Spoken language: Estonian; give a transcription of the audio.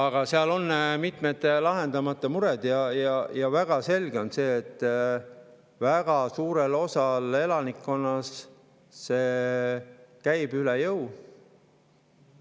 Aga seal on mitmed lahendamata mured ja selge on see, et väga suurele osale elanikkonnast käib see üle jõu.